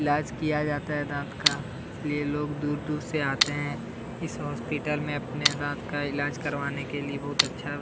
ईलाज किया जाता हैं दांत का इसलिए लोग दूर-दूर से आते हैं इस हॉस्पिटल में अपने दांत का ईलाज करवाने के लिए बहुत ही अच्छा --